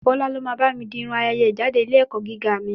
Bọ́lá ló máa bá mi di Irun ayẹyẹ ìjáde ilé ẹ̀kọ́ gíga mi.